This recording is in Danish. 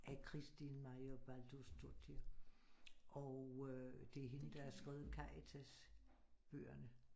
Af Kristín Marja Baldursdóttir og øh det er hende der har skrevet Karitas bøgerne